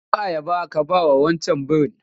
Karɓi ayaba ka bawa wancan birin!